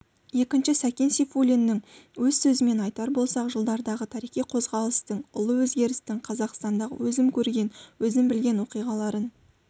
екінші сәкен сейфуллиннің өз сөзімен айтар болсақ жылдардағы тарихи қозғалыстың ұлы өзгерістің қазақстандағы өзім көрген өзім білген оқиғаларынан